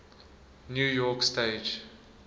new york stage